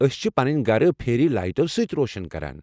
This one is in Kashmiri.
ٲسۍ چھِ پنٕنۍ گرٕ پھیری لیٚٹو سۭتۍ روشن کران۔